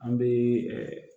An bɛ